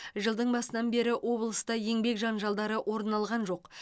жылдың басынан бері облыста еңбек жанжалдары орын алған жоқ